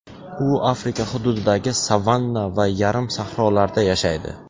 U Afrika hududidagi savanna va yarim sahrolarda yashaydi.